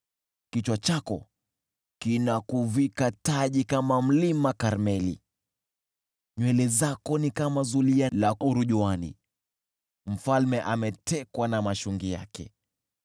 Kichwa chako kinakuvika taji kama mlima Karmeli. Nywele zako ni kama zulia la urujuani; mfalme ametekwa na mashungi yake.